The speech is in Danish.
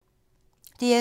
DR2